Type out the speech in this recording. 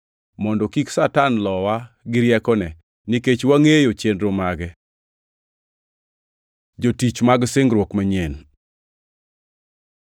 mondo kik Satan lowa gi riekone, nikech wangʼeyo chenro mage. Jotich mag singruok manyien